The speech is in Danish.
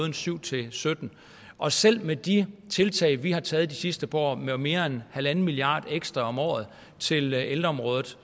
og syv til sytten og selv med de tiltag vi har taget de sidste par år med mere end en milliard ekstra om året til ældreområdet